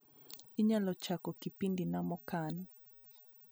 inyalo chako kipindi na mokan